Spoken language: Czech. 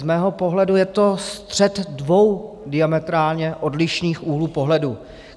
Z mého pohledu je to střet dvou diametrálně odlišných úhlů pohledu.